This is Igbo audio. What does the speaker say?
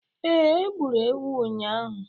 Ee, e gburu ewu ụnyahụ